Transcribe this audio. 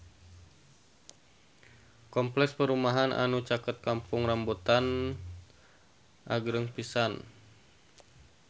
Kompleks perumahan anu caket Kampung Rambutan agreng pisan